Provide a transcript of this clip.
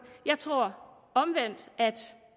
jeg tror omvendt at